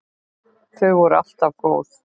Þau voru alltaf góð.